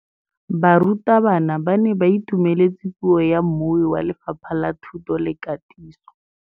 Barutabana ba ne ba itumeletse puô ya mmui wa Lefapha la Thuto le Katiso.